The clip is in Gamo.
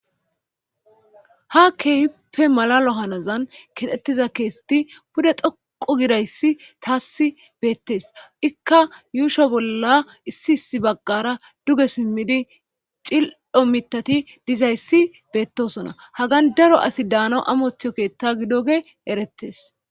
ha keehippe malalo hanazan kixettiza keeseti pude xhoqu gidayssi taassi beettes ikka yuusho bolla issi issi baggara duge simmidi cil7o mitati dizayssi beettosona hagan daro asi daana amothiyo keetta gidoge erettes